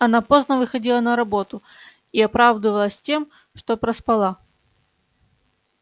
она поздно выходила на работу и оправдывалась тем что проспала